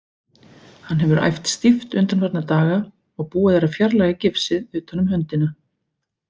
Hann hefur æft stíft undanfarna daga og búið er að fjarlæga gifsið utan um höndina.